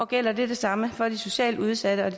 gælder det samme for de socialt udsatte og